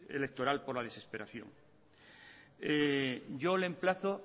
electorales por la desesperación yo le emplazo